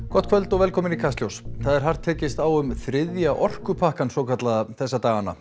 gott kvöld og velkomin í Kastljós það er hart tekist á um þriðja orkupakkann svokallaða þessa dagana